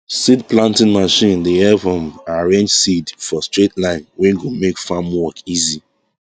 seed planting machine dey help um arrange seed for straight line wey go make farm work easy